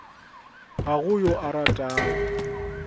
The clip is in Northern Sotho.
ga go yo a ratago